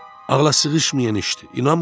Ağlasığışmayan işdir, inanmıram.